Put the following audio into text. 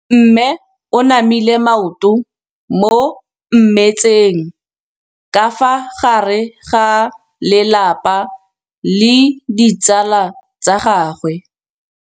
Mme o namile maoto mo mmetseng ka fa gare ga lelapa le ditsala tsa gagwe.